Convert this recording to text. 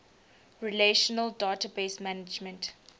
relational database management